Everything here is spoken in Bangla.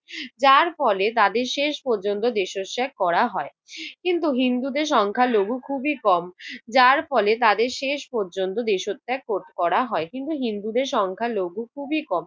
যার ফলে তাদের শেষ পর্যন্ত করা হয়। কিন্তু হিন্দুদের সংখ্যালঘু খুবই কম। যার ফলে তাদের শেষ পর্যন্ত দেশত্যাগ কর~ করা হয়। কিন্তু হিন্দুদের সংখ্যালঘু খুবই কম।